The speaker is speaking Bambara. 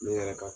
Ne yɛrɛ ka